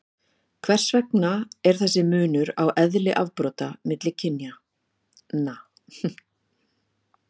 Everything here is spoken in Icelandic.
hvers vegna er þessi munur á eðli afbrota milli kynjanna